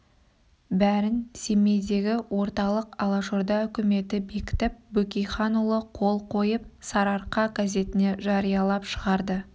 бәрін семейдегі орталық алашорда үкіметі бекітіп бөкейханұлы қол қойып сарыарқа газетіне жариялап шығарды